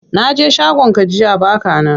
Naje shagon ka jiya baka nan.